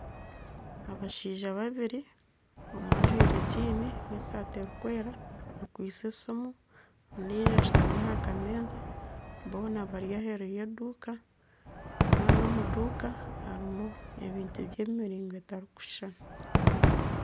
Abashaija babiri omwe ajwaire gyiini n'esaati erikwera akwaitse esimu. Ondijo ashutami aha kameeza boona bari aheeru y'eduuka kandi omu duuka harimu ebintu by'emiringo etarikushushana.